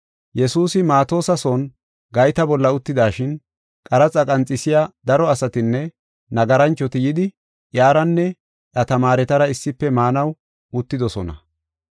Yesuusi Maatosa son gayta bolla uttidashin, qaraxa qanxisiya daro asatinne nagaranchoti yidi iyaranne iya tamaaretara issife maanaw uttidosona.